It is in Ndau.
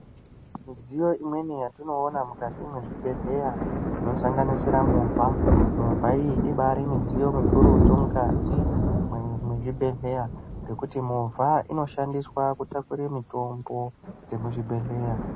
Midziyo imweni yatinoona mukati mwezvibhedhleya inosanganisira movha, movha iyi ibari mudziyo mukurutu mukati mwezvibhedhleya ngekuti movha inoshandiswa kutakura mitombo dxemuzvibhedhleya.